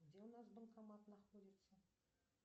где у нас банкомат находится